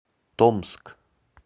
томск